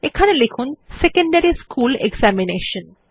এখানে লিখুন secondary school examination